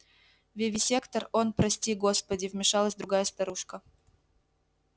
вивисектор он прости господи вмешалась другая старушка